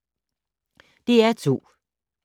DR2